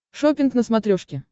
шоппинг на смотрешке